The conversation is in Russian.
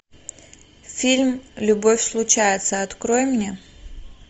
фильм любовь случается открой мне